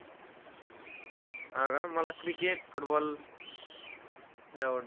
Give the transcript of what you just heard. हा का? मला cricket football लय आवडतो.